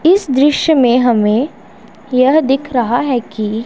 इस दृश्य में हमें यह दिख रहा है कि--